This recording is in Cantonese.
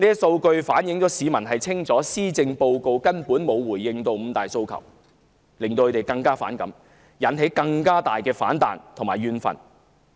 數據反映市民清楚知道施政報告根本沒有回應"五大訴求"，令他們更加反感，引起更大的反彈和怨憤。